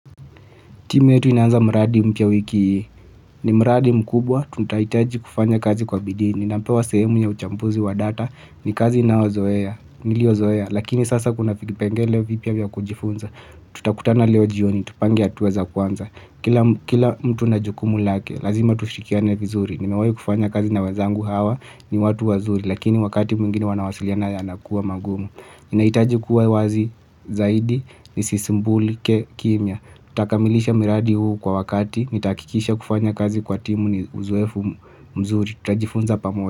Timu yetu inaanza mradi mpya wiki hii ni mradi mkubwa. Tutahitaji kufanya kazi kwa bidii. Ninapewa sehemu ya uchambuzi wa data ni kazi nayozoea. Niliozoea. Lakini sasa kuna vikipengele vipya vya kujifunza. Tutakutana leo jioni. Tupange hatua za kwanza kila. Kila mtu na jukumu lake. Lazima tushirikiane vizuri. Nimewahi kufanya kazi na wazangu hawa ni watu wazuri. Lakini wakati mwingine wanawasiliana yanakuwa magumu. Nahitaji kuwa wazi zaidi. Nisisimbulike kimya. Tutakamilisha miradi huu kwa wakati. Nitahakikisha kufanya kazi kwa timu ni uzoefu mzuri. Tutajifunza pamoja.